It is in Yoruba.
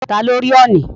Ta ló rí ọ̀ọ̀nì?